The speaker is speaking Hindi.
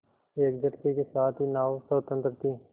एक झटके के साथ ही नाव स्वतंत्र थी